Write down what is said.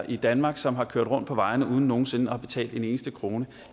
i danmark som har kørt rundt på vejene uden nogen sinde at have betalt en eneste krone